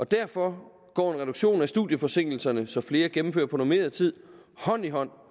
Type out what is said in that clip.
derfor går en reduktion af studieforsinkelserne så flere gennemfører på normeret tid hånd i hånd